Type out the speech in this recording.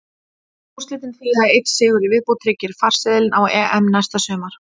Úrslitin þýða að einn sigur í viðbót tryggir farseðilinn á EM næsta sumar.